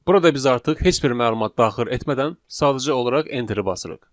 Burada biz artıq heç bir məlumat daxil etmədən, sadəcə olaraq enteri basırıq.